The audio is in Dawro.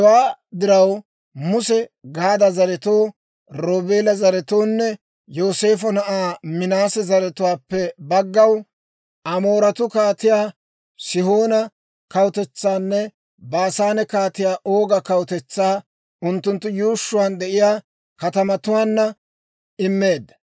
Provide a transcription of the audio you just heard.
Hewaa diraw, Muse Gaada zaretoo, Roobeela zaretoonne Yooseefo na'aa Minaase zaratuwaappe baggaw Amooretuu Kaatiyaa Sihoona kawutetsaanne Baasaane Kaatiyaa Ooga kawutetsaa, unttunttu yuushshuwaan de'iyaa katamatuwaanna immeedda.